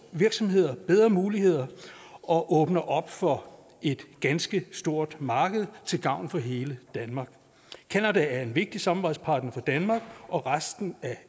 virksomheder bedre muligheder og åbner op for et ganske stort marked til gavn for hele danmark canada er en vigtig samarbejdspartner for danmark og resten af